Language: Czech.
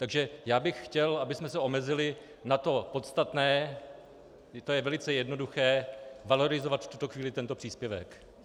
Takže já bych chtěl, abychom se omezili na to podstatné, je to velice jednoduché - valorizovat v tuto chvíli tento příspěvek.